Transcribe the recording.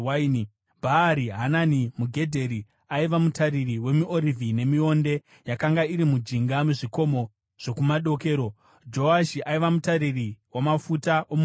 Bhaari-Hanani muGedheri aiva mutariri wemiorivhi nemionde yakanga iri mujinga mezvikomo zvokumadokero. Joashi aiva mutariri wamafuta omuorivhi.